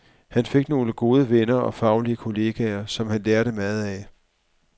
Han fik nogle gode venner og faglige kolleger, som han lærte meget af.